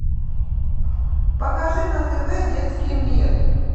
покажи на тв детский мир